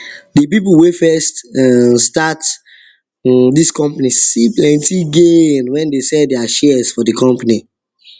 the people wey first um start um this company see plenty gain when they sell their shares for the company